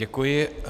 Děkuji.